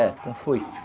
É, com foice.